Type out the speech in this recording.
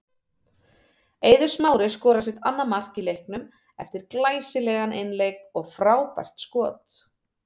Eiður Smári skorar sitt annað mark í leiknum eftir glæsilegan einleik og frábært skot.